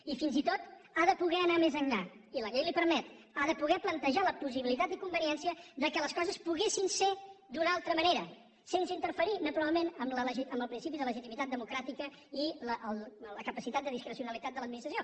i fins i tot ha de poder anar més enllà i la llei li ho permet ha de poder plantejar la possibilitat i conveniència que les coses poguessin ser d’una altra manera sense interferir naturalment amb el principi de legitimitat democràtica i la capacitat de discrecionalitat de l’administració